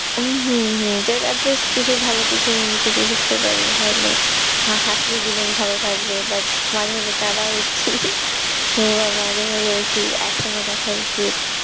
উ হু হু ভালো কিছু movie থেকে শিখতে পারি। হাসলে জীবন ভালো থাকবে বা মাঝে মাঝে কাঁদাও উচিত, বা মাঝে মাঝে একটু action ও দেখা উচিত।